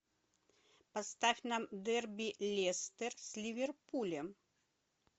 поставь нам дерби лестер с ливерпулем